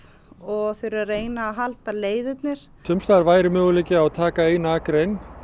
og reyna að halda leiðirnar væri möguleiki að taka eina akrein